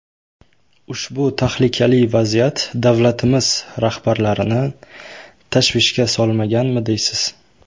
Ushbu tahlikali vaziyat davlatimiz rahbarlarini tashvishga solmaganmi deysiz.